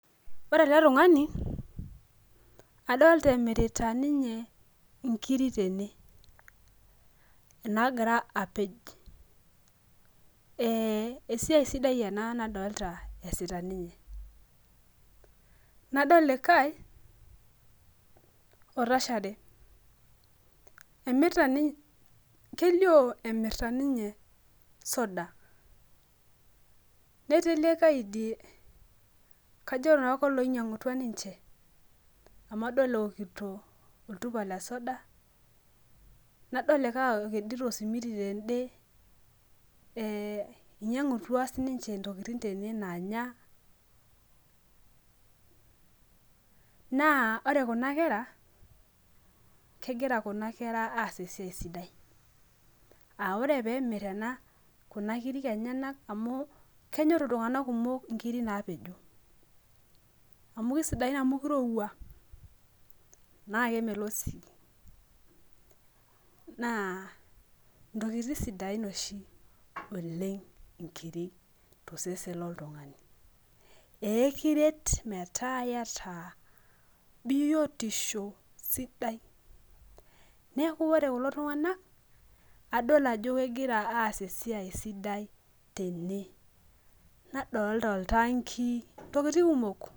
aa ore ele tung'ani adolta emirita ninye inkiri tene, esiai sidai ena nadolta esita ninye, nadol likae otashare kelio emirta ninye isudai netii likae idie kajo naa koloinyang'utua ninche amu adol eekito oltupa lesoda , nadol likae ekedito osimiti tedeweji inyang'utua sii niche intokitin naanya naa ore kuna kera naa ore kuna kera naa kegira kuna kera aas esiai sidai, aa ore pee emir kuna kirik enyanak amu kenyor iltung'anak kumok inkiri naa pejo amu kisidain amukirowua naa kemelok sii naa intokitin oshi sidain oleng' inkiri tososen lo ntung'ani, aa ekiret metaa iyata biyotisho sidai neeku ore kulo tung'anak nadoolta ajo kegira aas esiai sidai tene naadolta itaangii le ngare.